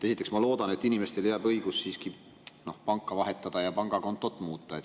Esiteks, ma loodan, et inimestele jääb siiski õigus panka vahetada ja pangakontot muuta.